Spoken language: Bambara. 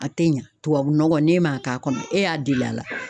A tɛ ɲɛ tubabunɔgɔ n'e ma k'a kɔnɔ e y'a deli a la